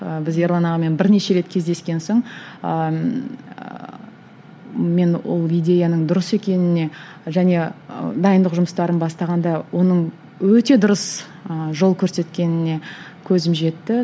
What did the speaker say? ы біз ерлан ағамен бірнеше рет кездескен соң ыыы мен ол идеяның дұрыс екеніне және ы дайындық жұмыстарын бастағанда оның өте дұрыс ы жол көрсеткеніне көзім жетті